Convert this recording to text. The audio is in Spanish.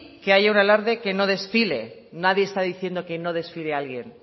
que haya un alarde que no desfile nadie está diciendo que no desfile alguien